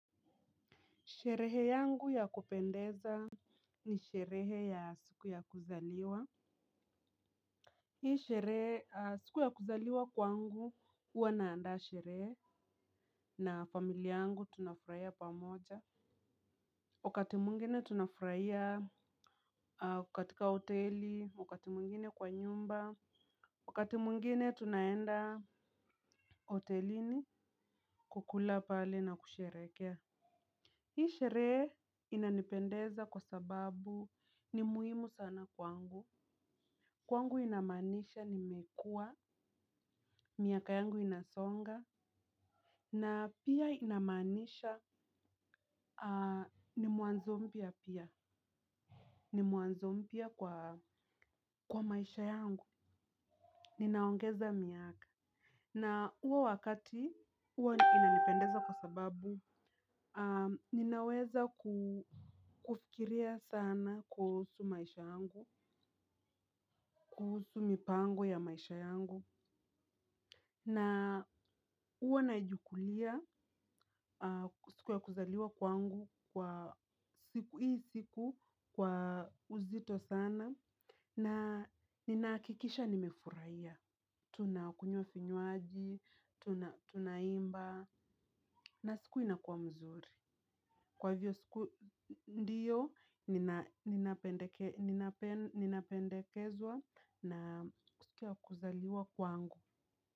Sherehe yangu ya kupendeza ni sherehe ya siku ya kuzaliwa. Hii sherehe siku ya kuzaliwa kwangu huwa naandaa sherehe na familia yangu tunafurahia pamoja wakati mwingine tunafurahia katika hoteli, wakati mwingine kwa nyumba wakati mwingine tunaenda hotelini kukula pale na kusherehekea. Hii sherehe inanipendeza kwa sababu. Ni muhimu sana kwangu, kwangu inamaanisha nimekua, miaka yangu inasonga, na pia inamaanisha ni mwanzo mpya pia ni mwanzo mpya kwa maisha yangu ninaongeza miaka na huo wakati, huwa inanipendeza kwa sababu, ninaweza kufikiria sana kuhusu maisha yangu, kuhusu mipango ya maisha yangu. Na huwa nachukulia siku ya kuzaliwa kwangu kwa siku hii siku kwa uzito sana. Na ninahakikisha nimefurahia. Tunakunywa vinywaji, tunaimba na siku inakuwa mzuri. Kwa hivyo siku ndiyo ninapendekezwa na siku ya kuzaliwa kwangu.